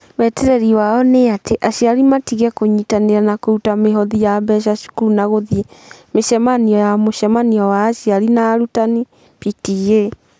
Mwetereri wao nĩ atĩ aciari matige kũnyitanĩra na kũruta mĩhothi ya mbeca cukuru na gũthiĩ mĩcemanio ya mũcemanio wa aciari na arutani (PTA).